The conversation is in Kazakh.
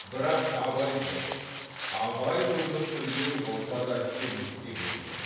бірақ абай жоқ абай өмір сүрген орта да келмеске кеткен